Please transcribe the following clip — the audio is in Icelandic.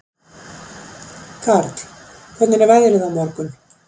Karl, hvernig er veðrið á morgun?